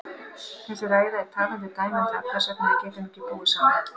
Þessi ræða er talandi dæmi um það hvers vegna við getum ekki búið saman.